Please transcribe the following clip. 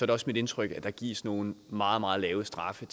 det også mit indtryk at der gives nogle meget meget lave straffe